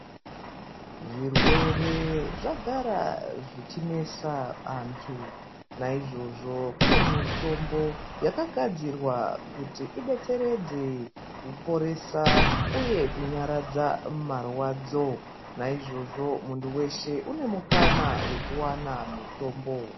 Zvirwere zvagara zvichi nesa antu na izvozvo kune mitombo yaka gadzirwa kuti idetseredze ku poresa uye kunyaradza marwadzo naizvozvo muntu weshe une mukana wekuwana mutombo.